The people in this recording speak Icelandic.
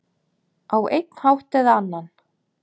Á einn hátt eða annan.